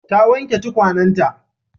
Ta wanke tukwanenta.